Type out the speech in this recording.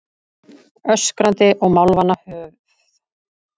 Öskrandi og málvana höfð